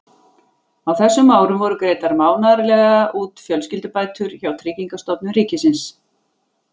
Á þessum árum voru greiddar mánaðarlega út fjölskyldubætur hjá Tryggingastofnun ríkisins.